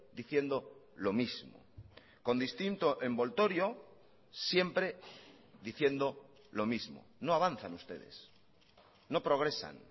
diciendo lo mismo con distinto envoltorio siempre diciendo lo mismo no avanzan ustedes no progresan